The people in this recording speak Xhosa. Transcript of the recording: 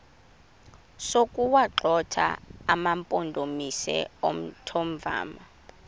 sokuwagxotha amampondomise omthonvama